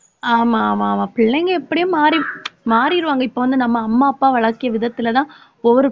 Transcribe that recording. ஆமா ஆமா ஆமா பிள்ளைங்க எப்படியும் மாறி மாறிருவாங்க. இப்ப வந்து நம்ம அம்மா அப்பா வளர்க்கிய விதத்துலதான் ஒவ்வொரு